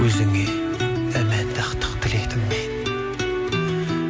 өзіңе тіледім мен